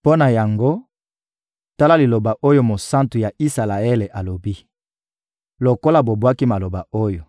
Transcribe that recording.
Mpo na yango, tala liloba oyo Mosantu ya Isalaele alobi: «Lokola bobwaki maloba oyo,